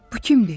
Bu kimdir?